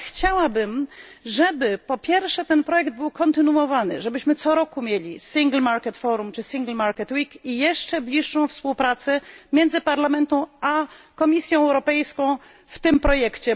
Ale chciałabym, żeby po pierwsze, projekt ten był kontynuowany, żebyśmy co roku mieli Single Market Forum czy Single Market Week i jeszcze bliższą współpracę między Parlamentem a Komisją Europejską w ramach tego projektu.